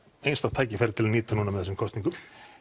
einstakt tækifæri til að nýta núna með þessum kosningum